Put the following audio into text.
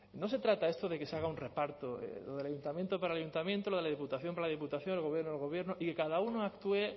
no se trata esto de que se haga un reparto lo del ayuntamiento para el ayuntamiento lo de la diputación para la diputación el gobierno el gobierno y que cada uno actúe